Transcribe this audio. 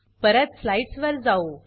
परत स्लाइड्स वर जाऊ